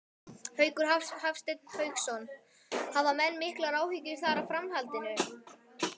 Hafsteinn Hauksson: Hafa menn miklar áhyggjur þar af framhaldinu?